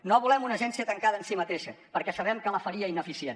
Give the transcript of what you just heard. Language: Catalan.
no volem una agència tancada en si mateixa perquè sabem que la faria ineficient